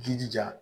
Jijija